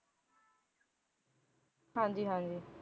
ਹਾਂਜੀ ਹਾਂਜੀ